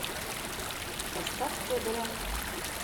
поставь федора